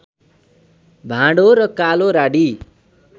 भाँडो र कालो राडी